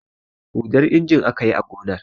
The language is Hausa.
Huɗan injin aka yi a gonar.